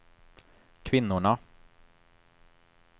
kvinnorna